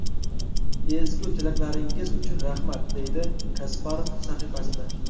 Ezgu tilaklaringiz uchun rahmat”, deydi Kasparov sahifasida.